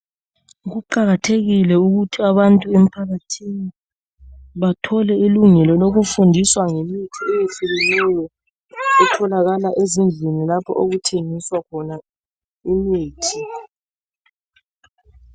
Kuqakathekile ukuthi abantu emphakathini bathole ilungelo lokufundiswa ngemithi eyehlukeneyo etholakala ezindlini lapho okuthengiswa khona imithi.